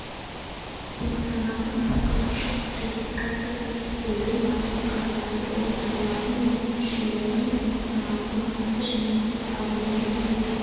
функционалдық-басқарушылық стратификациясы типтеудің базалық қағидаты болып табылатын оның түршелерінің функционалдық мақсаты және анықталуымен бірге